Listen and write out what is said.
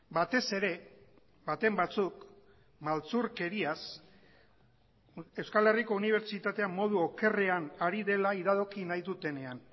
batez ere baten batzuk maltzurkeriaz euskal herriko unibertsitatea modu okerrean ari dela iradoki nahi dutenean